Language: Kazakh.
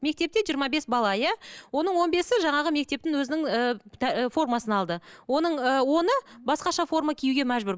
мектепте жиырма бес бала иә оның он бесі жаңағы мектептің өзінің ііі формасын алды оның ы оны басқаша форма киюге мәжбүр